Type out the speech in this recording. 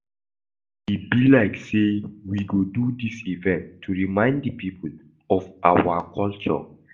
E be like say we go do dis event to remind the people of our culture